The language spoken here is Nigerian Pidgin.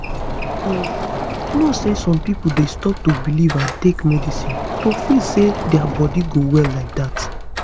you know say some pipo dey stop to belief and take medicine to feel say dia body go well like dat